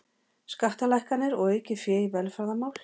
Skattalækkanir og aukið fé í velferðarmál